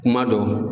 Kuma dɔ